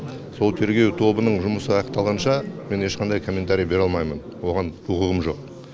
сол тергеу тобының жұмысы аяқталғанша мен ешқандай комментария бере алмаймын оған құқығым жоқ